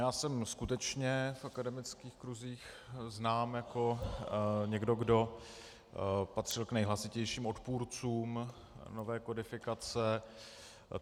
Já jsem skutečně v akademických kruzích znám jako někdo, kdo patřil k nejhlasitějším odpůrcům nové kodifikace.